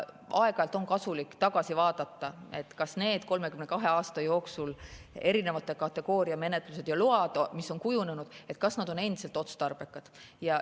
Aeg-ajalt on kasulik tagasi vaadata, kas need 32 aasta jooksul kujunenud erinevate kategooriate load on endiselt otstarbekad.